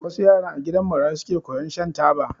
Wassu yaran a gidan marayu suke koyan shan taba